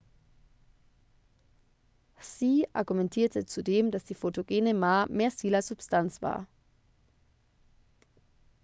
hsieh argumentierte zudem dass die photogene ma mehr stil als substanz war